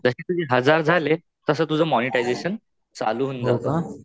जशे तुझे हजार झाले तस तुझं मोनेटायझशन चालू होऊन जात.